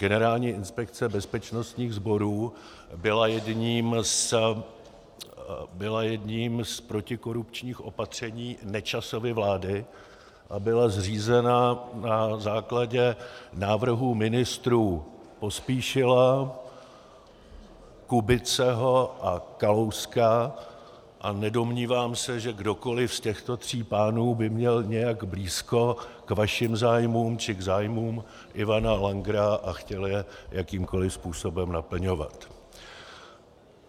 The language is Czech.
Generální inspekce bezpečnostních sborů byla jedním z protikorupčních opatření Nečasovy vlády a byla zřízena na základě návrhů ministrů Pospíšila, Kubiceho a Kalouska a nedomnívám se, že kdokoli z těchto tří pánů by měl nějak blízko k vašim zájmům či k zájmům Ivana Langera a chtěl je jakýmkoli způsobem naplňovat.